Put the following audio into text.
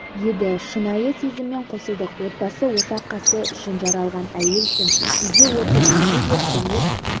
еді шынайы сезіммен қосылдық отбасы ошақ қасы үшін жаралған әйелсің үйде отыр десе де көнер